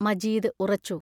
മജീദ് ഉറച്ചു.